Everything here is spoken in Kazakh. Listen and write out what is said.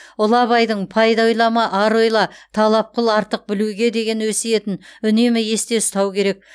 ұлы абайдың пайда ойлама ар ойла талап қыл артық білуге деген өсиетін үнемі есте ұстау керек